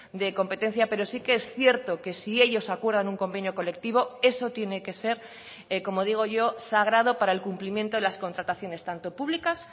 de competencia pero sí que es cierto que si ellos acuerdan un convenio colectivo eso tiene que ser como digo yo sagrado para el cumplimiento de las contrataciones tanto públicas